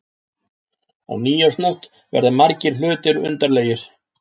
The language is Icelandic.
Á nýársnótt verða margir hlutir undarlegir.